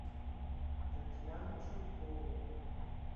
татьяну чулкову